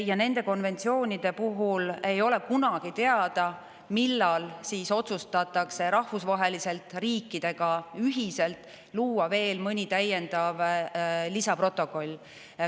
Ja nende konventsioonide puhul ei ole kunagi teada, millal otsustatakse rahvusvaheliselt riikidega ühiselt luua veel mõni täiendav lisaprotokoll.